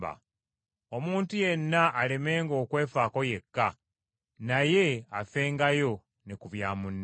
Omuntu yenna alemenga okwefaako yekka, naye afengayo ne ku bya munne.